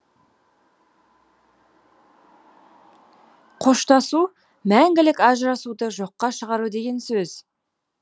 қоштасу мәңгілік ажырасуды жоққа шығару деген сөз